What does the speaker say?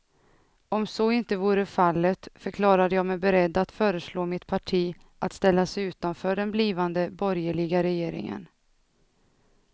Om så inte vore fallet förklarade jag mig beredd att föreslå mitt parti att ställa sig utanför den blivande borgerliga regeringen.